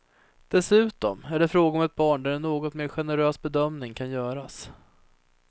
Dessutom är det fråga om ett barn där en något mer generös bedömning kan göras.